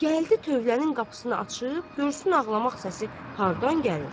Gəldi tövlənin qapısını açıb görsün ağlamaq səsi hardan gəlir?